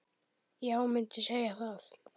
Já, mundi segja það.